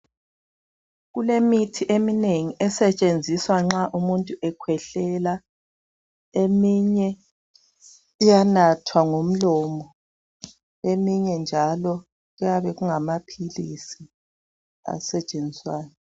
Kulemithi eminengi esetshenziswa nxa umuntu ekhwehlela. Eminye iyanathwa ngomlomo eminye njalo kuyabe kungamaphilisi asetshenziswayo.